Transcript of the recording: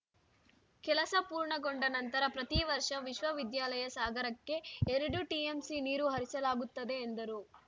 ಕೆಲಸ ಪೂರ್ಣಗೊಂಡ ನಂತರ ಪ್ರತಿ ವರ್ಷ ವಿಶ್ವವಿದ್ಯಾಲಯ ಸಾಗರಕ್ಕೆ ಎರಡು ಟಿಎಂಸಿ ನೀರು ಹರಿಸಲಾಗುತ್ತದೆ ಎಂದರು